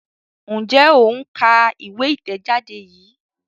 Njé o ń ká ìwé itẹjade yí?